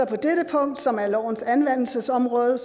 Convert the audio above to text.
på dette punkt som handler om lovens anvendelsesområde